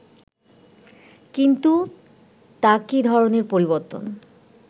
কিন্তু তা কি ধরণের পরিবর্তন